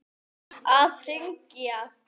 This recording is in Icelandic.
Að hring!